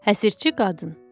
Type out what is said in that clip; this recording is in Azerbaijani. Həsirçi qadın.